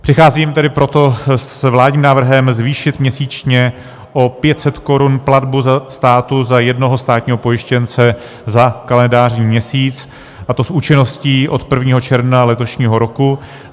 Přicházím tedy proto s vládním návrhem zvýšit měsíčně o 500 korun platbu státu za jednoho státního pojištěnce za kalendářní měsíc, a to s účinností od 1. června letošního roku.